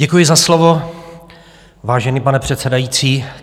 Děkuji za slovo, vážený pane předsedající.